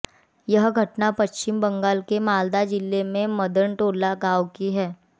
यह घटना पश्चिम बंगाल के मालदा जिले के मदनटोला गांव की है